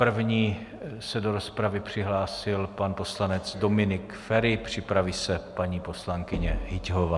První se do rozpravy přihlásil pan poslanec Dominik Feri, připraví se paní poslankyně Hyťhová.